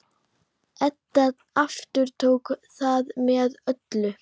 Edda aftók það með öllu.